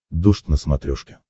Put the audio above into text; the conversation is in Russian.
дождь на смотрешке